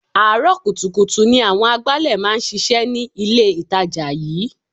Àárọ̀ kùtùkùtù ni àwọn agbálẹ̀ máa ń ṣíṣe ní ilé itàjà yìí.